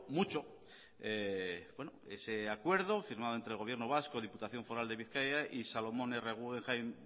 mucho ese acuerdo firmado entre el gobierno vasco diputación foral de bizkaia y solomon r guggenheim